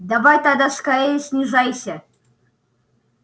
давай тогда скорее снижайся